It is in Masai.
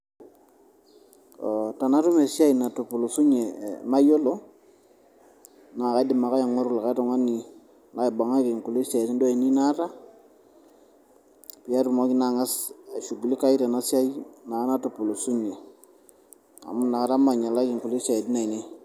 tenatum esiai natupulusunye mayiolo. naa kaidim ake aing'oru likae tung'ani laibung'aki kulie siaitin aainei naata, peyie atumoki naa angas aishugulinae tena siai natupulusnye. amu ina kata maing'ialaki kulie siaitin aainei.